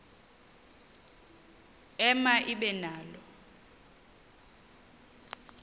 ema ibe nalo